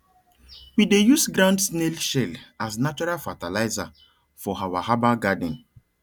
we dey use ground snail shell as natural fertilizer for our herbal garden